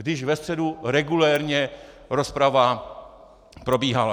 Když ve středu regulérně rozprava probíhala.